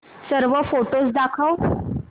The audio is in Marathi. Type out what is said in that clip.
सर्व फोटोझ दाखव